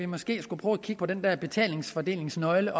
måske skulle prøve at kigge på den der betalingsfordelingsnøgle